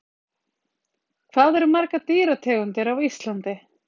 Hvað eru margar dýrategundir á Íslandi?